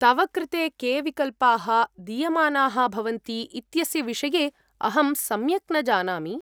तव कृते के विकल्पाः दीयमानाः भवन्ति इत्यस्य विषये अहं सम्यक् न जानामि।